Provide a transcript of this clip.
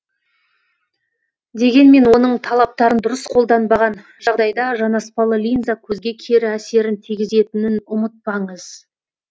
дегенмен оның талаптарын дұрыс қолданбаған жағдайда жанаспалы линза көзге кері әсерін тигізетінін ұмытпаңыз